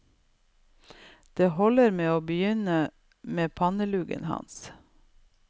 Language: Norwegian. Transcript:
Det holder med å begynne med panneluggen hans.